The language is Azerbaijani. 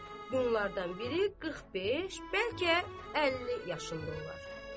Bunlardan biri 45, bəlkə 50 yaşındı olar.